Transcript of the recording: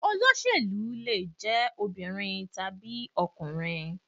Olóṣèlú lè jẹ́ obìnrin tàbí ọkùnrin.